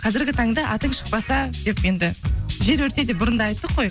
қазіргі таңда атың шықпаса деп енді жер өрте деп бұрында айттық қой